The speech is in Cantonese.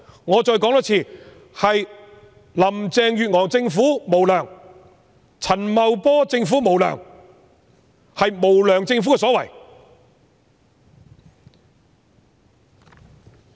我再多說一遍，是林鄭月娥政府無良、陳茂波政府無良，是無良政府的所為。